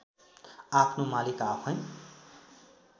आफ्नो मालिक आफैँ